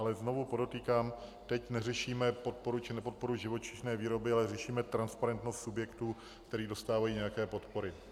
Ale znovu podotýkám, teď neřešíme podporu či nepodporu živočišné výroby, ale řešíme transparentnost subjektů, které dostávají nějaké podpory.